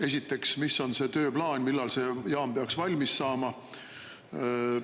Esiteks: milline on see tööplaan, millal see jaam peaks valmis saama?